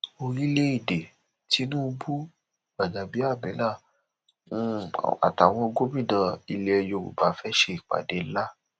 orílẹèdè tínúbù gbàjàbíàmílà um àtàwọn gómìnà ilẹ yorùbá fẹẹ ṣèpàdé ńlá